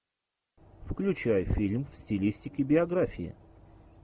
включай фильм в стилистике биография